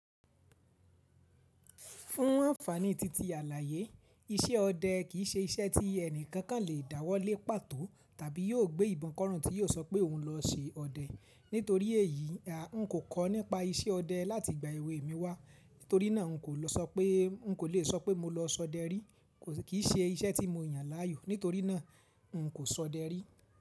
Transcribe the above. Fún ànfàní titi àlàyé iṣẹ́ ọdẹ kì í ṣe iṣẹ́ tí ẹnikan kan lè dáwọ́lé pàtó tàbí yóò gbé ìbọn kọ́ràn tí yóò sọ pé òun lọ se ọdẹ. Nítorí èyí, n kò kọ́ nípa iṣẹ́ ọdẹ láti ìgbà èwe mi wá. Nítorí náà n kò lè sọ pé mo lọ sọdẹ rí kì í ṣe iṣẹ́ tí mo yàn láàyò. Nítorí náà n kò sọdẹ rí.